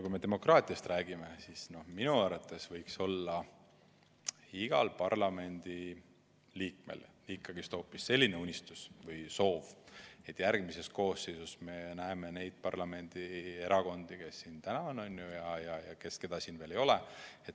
Kui me demokraatiast räägime, siis minu arvates võiks olla igal parlamendiliikmel hoopis selline unistus või soov, et järgmises koosseisus me näeme parlamendis nii neid erakondi, kes siin täna on, kui ka neid, keda siin veel ei ole.